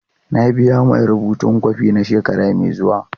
Na biya mai rubutun kwafi na shekara mai zuwa.